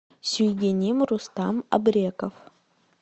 сюйгеним рустам абреков